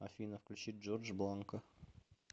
афина включи джордж бланко